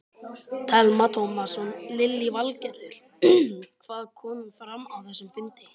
Telma Tómasson: Lillý Valgerður, hvað kom fram á þessum fundi?